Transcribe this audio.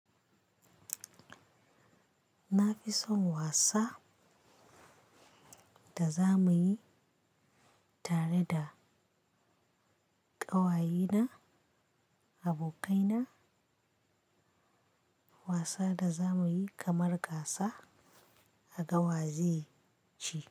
Na fi son wasa da za muyi tare da ƙawayena, abokaina. Wasa da za muyi kamar gasa a gawazai ci.